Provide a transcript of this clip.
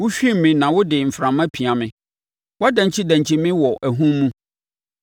Wohwim me na wode mframa pia me; wodankyidankyi me wɔ ahum mu.